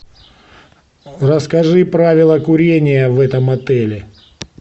расскажи правила курения в этом отеле